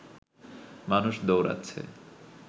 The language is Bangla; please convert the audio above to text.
মানুষ দৌড়োচ্ছে